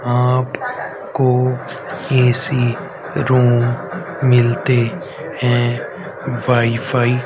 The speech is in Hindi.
आप को ए_सी रूम मिलते हैं वाई फाई --